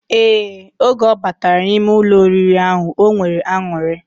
Ee, oge obatara na ime Ụlọ oriri ahu, onwere anuri.